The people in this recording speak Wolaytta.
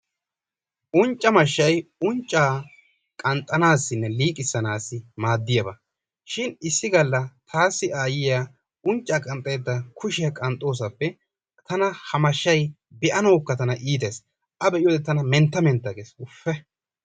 Uncca mashshay unccaa qanxxanaassinne liiqissanaassi maaddiyaba. Shin issi galla taassi aayyiya unccaa qanxxaydda kushiya qanxxoosappe tana ha mashshay be'anawukka iitees. A be'iyode tana mentta mentta gees, Ufuufee!